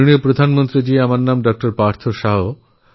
মাননীয় প্রধানমন্ত্রী আমার নাম ডক্টর পার্থ শাহ্